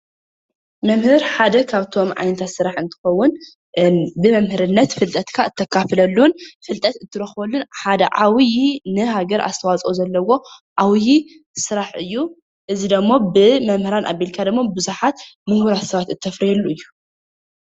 መምህር ሓደ ካብቶም ዓይነታት ስራሕ እንትኸዉን ብመምህርነት ፍልጠትካ እተካፍለሉን ፍልጠት እትረኽበሉን ሓደ ዕብዪ ንሃገር ኣስተዋፅኦ ዘለዎ ዓብዪ ስራሕ እዩ:: እዚ ደሞ ብመምህራን ኣቢልካ ደሞ ቡዙሓት ሙሁራት ሰባት እተፍርየሉ እዩ ::